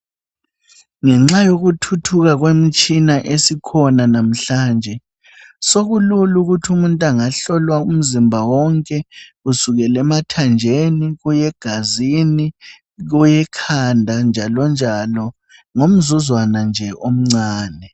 Ngenxa yokuthuthuka kwemitshina esikhona namhlanje sokulula ukuthi umuntu angahlolwa umzimba wonke kusukela emathanjeni kuye egazini, kuye ekhanda njalonjalo ngomzuzwana nje omncane.